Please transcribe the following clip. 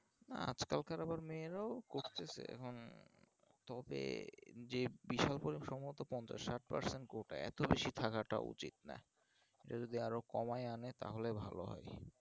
আজকাল আবার মেয়েরাও করতেছে এখন তবে যে বিষয় গুলো সম্ভবত পঞ্চাশ ষাট percent quota এত বেশি থাকাটা উচিত না যদি আরো কমায় আনে তাহলে ভালো হবে।